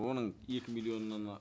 оның екі